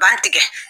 Ban tigɛ